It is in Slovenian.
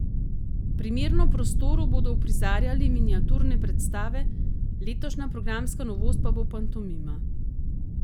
Primerno prostoru bodo uprizarjali miniaturne predstave, letošnja programska novost pa bo pantomima.